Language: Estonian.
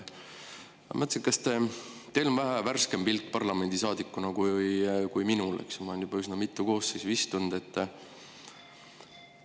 Ma mõtlesin, et teil on vähe värskem pilk parlamendisaadikuna kui minul, kes ma olen siin juba üsna mitu koosseisu istunud.